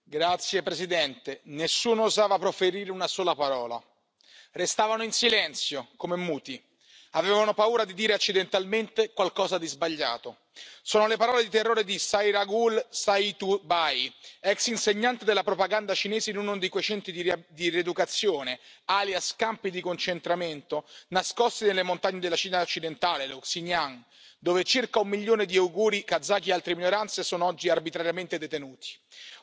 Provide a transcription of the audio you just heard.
Signor Presidente, onorevoli colleghi, nessuno usava proferire una sola parola, restavano in silenzio come muti, avevano paura di dire accidentalmente qualcosa di sbagliato, sono le parole di terrore di Sayragul Sauytbay, ex insegnante della propaganda cinese in uno di quei centri di rieducazione, alias campi di concentramento nascosti nelle montagne della Cina occidentale, lo Xi'an, dove circa un milione di uiguri, kazaki e altre minoranze sono oggi arbitrariamente detenuti.